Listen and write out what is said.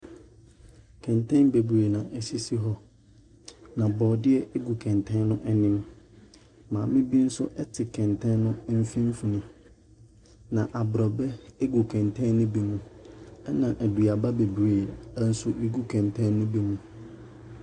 Kɛntɛm bebree na ɛsisi hɔ, na borɔdeɛ gu kɛntɛn no anim. Maame bi nso te kɛntɛn no mfimfini. Na aborɔbɛ gu kɛntɛn no bi mu, ɛnna aduaba bebree nso gu kɛntɛn no bi mu.